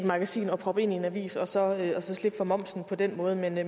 magasin og proppe ind i en avis og så og så slippe for momsen på den måde men det